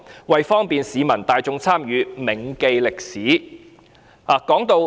為方便市民大眾參與......銘記歷史"。